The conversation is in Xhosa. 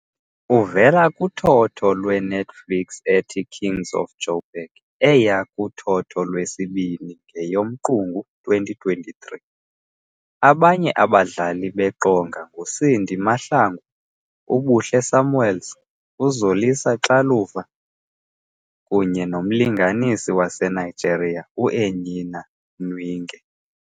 Uvela kuthotho lweNetflix ethi "Kings of Jo'burg" eya kuthotho lwesibini ngeyoMqungu 2023. Abanye abadlali beqonga nguCindy Mahlangu, uBuhle Samuels, uZolisa Xaluva kunye nomlingisi waseNigeria uEnyinna Nwigwe .